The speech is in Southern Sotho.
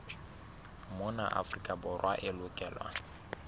mona afrika borwa e lokelwa